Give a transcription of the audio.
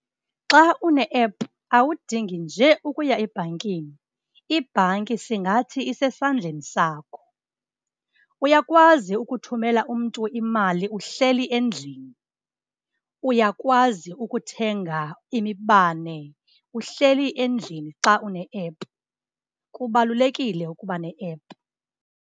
Xa une-app awudingi nje ukuya ebhankini, ibhanki singathi isesandleni sakho. Uyakwazi ukuthumela umntu imali uhleli endlini, uyakwazi ukuthenga imibane uhleli endlini xa une-app, kubalulekile ukuba ne-app.